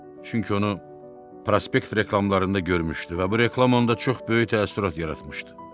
Çünki onu prospekt reklamlarında görmüşdü və bu reklam onda çox böyük təəssürat yaratmışdı.